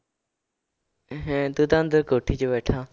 ਹੈਂ ਤੂੰ ਤਾਂ ਅੰਦਰ ਕੋਠੀ ਚ ਬੈਠਾ।